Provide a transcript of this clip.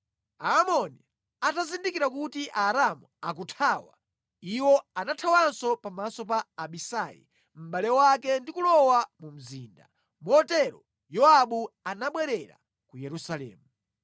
Aamoni atazindikira kuti Aaramu akuthawa, iwo anathawanso pamaso pa Abisai mʼbale wake ndi kulowa mu mzinda. Motero Yowabu anabwerera ku Yerusalemu.